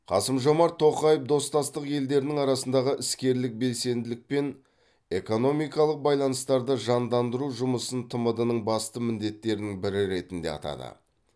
қасым жомарт тоқаев достастық елдерінің арасындағы іскерлік белсенділік пен экономикалық байланыстарды жандандыру жұмысын тмд ның басты міндеттерінің бірі ретінде атады